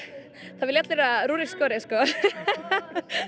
það vilja allir að Rúrik skori sko